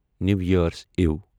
نیو year's اِو